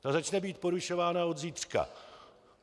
Ta začne být porušována od zítřka.